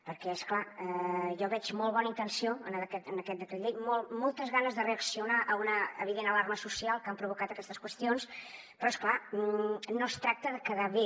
perquè és clar jo veig molt bona intenció en aquest decret llei moltes ganes de reaccionar a una evident alarma social que han provocat aquestes qüestions però és clar no es tracta de quedar bé